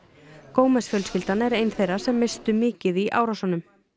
gomez fjölskyldan er ein þeirra sem misstu mikið í árásunum